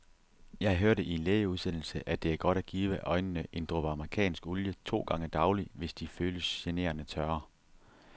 Jeg hørte i en lægeudsendelse, at det er godt at give øjnene en dråbe amerikansk olie to gange daglig, hvis de føles generende tørre.